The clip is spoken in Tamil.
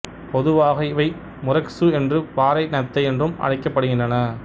பொதுவாக இவை முரெக்சு என்றும் பாறை நத்தை என்றும் அழைக்கப்படுகின்றன